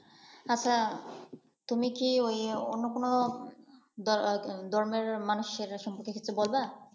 আচ্ছা তুমি কি ঐ অন্য কোন ধর্মের ধর্মের মানুষের সম্পর্কের কিছু বলবা?